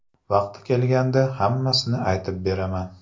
Vaqti kelganda hammasini aytib beraman.